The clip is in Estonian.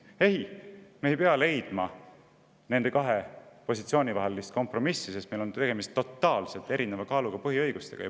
Ei, me ei pea leidma nende kahe positsiooni vahel kompromissi, sest meil on tegemist totaalselt erineva kaaluga põhiõigustega.